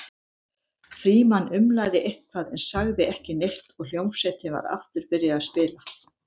Frímann umlaði eitthvað en sagði ekki neitt og hljómsveitin var aftur byrjuð að spila.